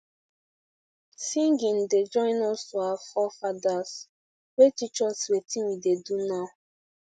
singing da join us to our forefathers wey teach us wetin we da do now